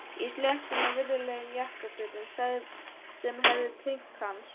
Í sléttum og virðulegum jakkafötum sem hæfðu tign hans.